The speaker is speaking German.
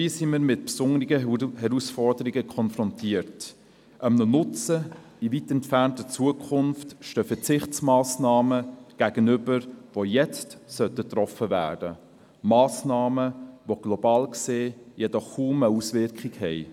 Dabei sind wir mit besonderen Herausforderungen konfrontiert: Einem Nutzen in weit entfernter Zukunft stehen Verzichtsmassnahmen gegenüber, die jetzt getroffen werden sollten, Massnahmen, die global gesehen jedoch kaum eine Wirkung haben.